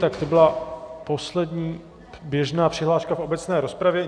Tak to byla poslední běžná přihláška v obecné rozpravě.